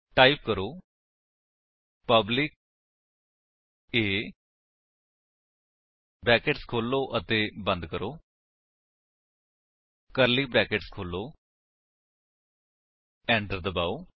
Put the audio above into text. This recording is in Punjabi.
ਟਾਈਪ ਕਰੋ ਪਬਲਿਕ A ਬਰੈਕੇਟਸ ਖੋਲੋ ਅਤੇ ਬੰਦ ਕਰੋ ਕਰਲੀ ਬਰੈਕੇਟਸ ਖੋਲੋ ਐਂਟਰ ਦਬਾਓ